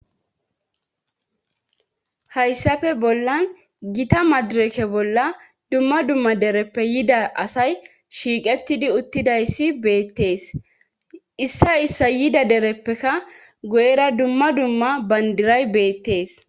hayssafe bollan gita madireke bolla dumma dumma dereppe yida asay shiiqettidi uttidayssi beettees issa issa yida dereppeka go7era dumma dumma bandiray beettees